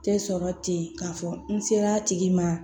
Tɛ sɔrɔ ten k'a fɔ n sera tigi ma